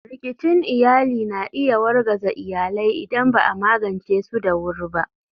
Rikicin iyali na iya wargaza iyalai idan ba a magance su da wuri ba.